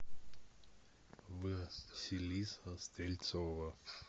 василиса стрельцова